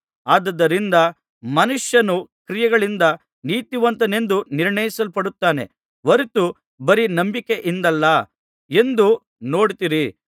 ಆದುದರಿಂದ ಮನುಷ್ಯನು ಕ್ರಿಯೆಗಳಿಂದ ನೀತಿವಂತನೆಂದು ನಿರ್ಣಯಿಸಲ್ಪಡುತ್ತಾನೆ ಹೊರತು ಬರೀ ನಂಬಿಕೆಯಿಂದಲ್ಲ ಎಂದು ನೋಡುತ್ತೀರಿ